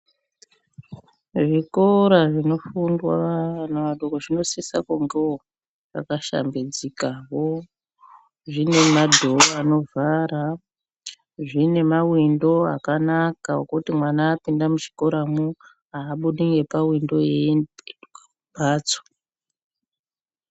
Zvikora zvinofundwa vana vadoko zvinosisa kungewo zvakashambidzikawo, zvine madhoo anovhara, zvine mawindo akanaka ekuti mwana apinda muchikoramwo aabudi ngepawindo eipetuka kumphatso.